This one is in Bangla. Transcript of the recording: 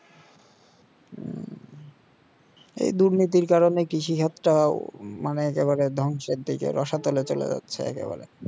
এই দুর্নীতির কারণে কৃষি তাও মানে একেবারে ধ্বংসের দিকে রসা তোলে চলে যাচ্ছে একেবারে